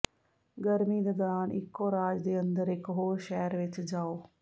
ਗਰਮੀ ਦੇ ਦੌਰਾਨ ਇੱਕੋ ਰਾਜ ਦੇ ਅੰਦਰ ਇਕ ਹੋਰ ਸ਼ਹਿਰ ਵਿੱਚ ਜਾਓ